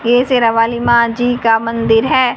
ये शेरावाली मां जी का मंदिर है।